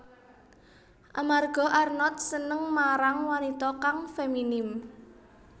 Amarga Arnod seneng marang wanita kang feminim